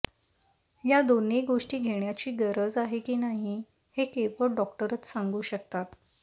या दोन्ही गोष्टी घेण्याची गरज आहे की नाही हे केवळ डॉक्टरच सांगू शकतात